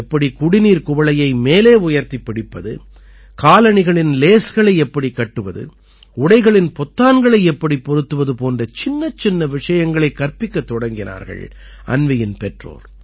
எப்படி குடிநீர்க் குவளையை மேலே உயர்த்திப் பிடிப்பது காலணிகளின் லேஸ்களை எப்படிக் கட்டுவது உடைகளின் பொத்தான்களை எப்படிப் பொருத்துவது போன்ற சின்னச்சின்ன விஷயங்களைக் கற்பிக்கத் தொடங்கினார்கள் அன்வீயின் பெற்றோர்